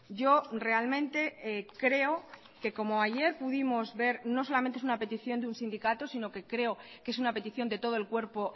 yo realmente creo que como ayer pudimos ver no solamente es una petición de un sindicato sino que creo que es una petición de todo el cuerpo